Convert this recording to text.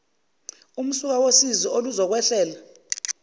umsuka wosizi oluzokwehlela